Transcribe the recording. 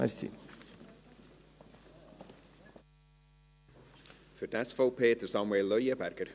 Für die SVP spricht Samuel Leuenberger.